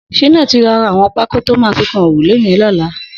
Shina ti lọ rà awọn pákó tó mà fi kán órúlé yèn lọlá